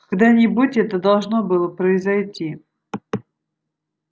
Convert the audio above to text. когда-нибудь это должно было произойти